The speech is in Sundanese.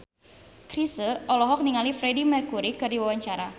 Chrisye olohok ningali Freedie Mercury keur diwawancara